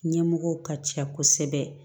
Ɲɛmɔgɔw ka ca kosɛbɛ